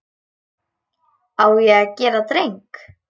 Á ég að gera dreng?